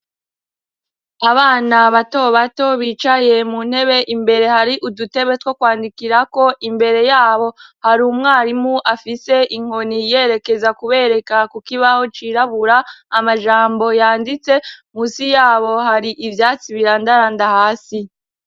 Abana batobato bicaye mu ntebe imbere hari udutebe two kwandikirako imbere yabo hari umwarimu afise inkoni yerekeza kubereka ku kibaho cirabura amajambo yanditse, musi yabo hari ivyatsi birandaranda hasi.